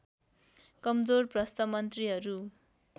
कमजोर भ्रष्ट मन्त्रीहरू